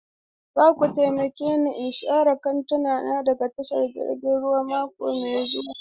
Za ku taimake ni in share kwantenana daga tashar jirgin ruwa mako mai zuwa?